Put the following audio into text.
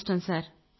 అదృష్టం